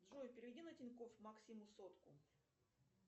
джой переведи на тинькофф максиму сотку